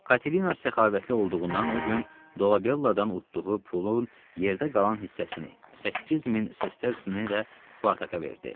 Katerina səxavətli olduğundan o gün Dolabelladan utduğu pulun yerdə qalan hissəsini, 8000 sestercini də Spartaka verdi.